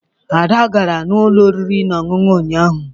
Ada gara n'ụlọ oriri na ọṅụṅụ ụnyaahụ